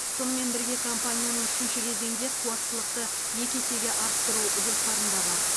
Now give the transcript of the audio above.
сонымен бірге компанияның үшінші кезеңде қуаттылықты екі есеге арттыру жоспарында бар